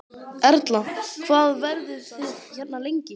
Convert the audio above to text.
Erla: Hvað verðið þið hérna lengi?